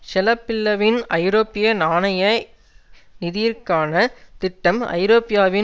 ஷெளபில்லவின் ஐரோப்பிய நாணய நிதியற்கான திட்டம் ஐரோப்பியாவின்